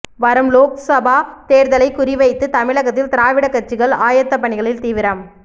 வரும் லோக்சபா தேர்தலை குறி வைத்து தமிழகத்தில் திராவிட கட்சிகள் ஆயத்த பணிகளில் தீவிரம்